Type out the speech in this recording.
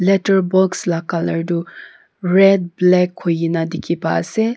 letters box laga colour tu red black hoi kina dekhi pa ase.